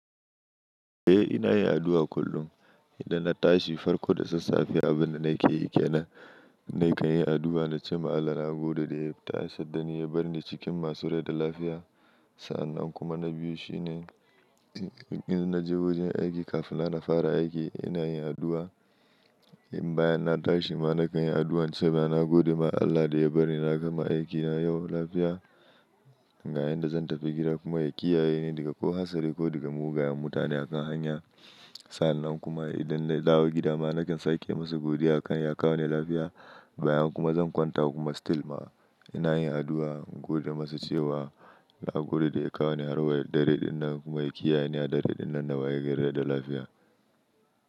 Eh ina yin addu'a kullum. Idan na tashi farko da sassafe abin da nake yi ƙena, nakan yi addu'a na ce ma Allah na gode da ya tashi dani ya bar ni cikin masu rai da lafiya. Sa'annan kuma na biyu shine, idan na je wajen aiki kafin na fara aiki ina yin addu'a. Bayan na tashi ma nakan yi addu'a in ce ma, gode ma Allah da ya bar ni na gama aikina yau lafiya. Ga yanda zan tafi gida kuma, ya kiyaye ni daga ko hatsari ko daga mugayen mutane a kan hanya. Sa'annan kuma, idan na dawo gida ma nakan sake masa godiya akan ya kawo ni lafiya. Bayan kuma zan kwanta kuma still ma ina yin addu'a gode masa cewa na gode da ya kawo ni har wa dare dinnan, kuma ya kiyaye ni a dare dinnan da waye gare da lafiya.